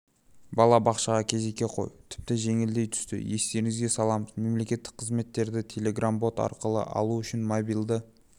балабақшаға кезекке қою тіпті жеңілдей түсті естеріңізге саламыз мемлекеттік қызметтерді телеграм-бот арқылы алу үшін мобильді